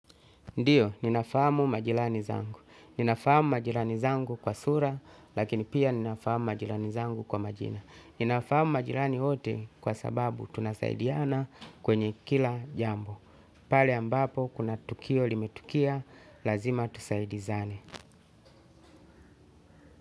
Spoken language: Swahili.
Ndiyo, ninafamu majiranizangu. Nina fahamu majirani zangu kwa sura, lakini pia nina fahamu majirani zangu kwa majina. Nina fahamu majirani wote kwa sababu tunasaidiana kwenye kila jambo. Pale ambapo, kuna tukio limetukia, lazima tusaidizane.